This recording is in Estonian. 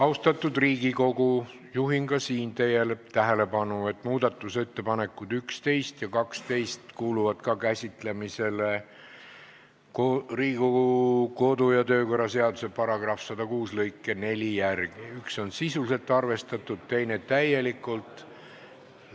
Austatud Riigikogu, juhin ka siin teie tähelepanu sellele, et muudatusettepanekuid nr 11 ja 12 käsitleme Riigikogu kodu- ja töökorra seaduse § 106 lõike 4 järgi: üks on sisuliselt ja teine täielikult arvestatud.